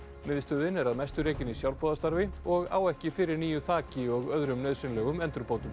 miðstöðin er að mestu rekin með sjálfboðastarfi og á ekki fyrir nýju þaki og öðrum nauðsynlegum endurbótum